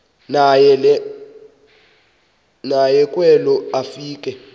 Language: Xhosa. naye kwelo afika